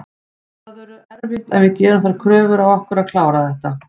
Það verður erfitt en við gerum þær kröfur á okkur að klára þetta.